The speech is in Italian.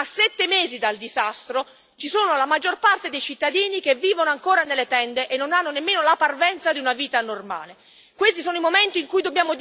Ricordo a tutti i colleghi che, a sette mesi dal disastro, la maggior parte dei cittadini vive ancora nelle tende e non ha nemmeno la parvenza di una vita normale.